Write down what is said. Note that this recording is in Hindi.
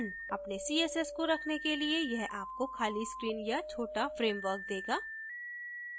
अपने css को रखने के लिए यह आपको खाली screen या छोटा framework देगा